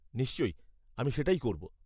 নিশ্চয়ই, আমি সেটাই করব।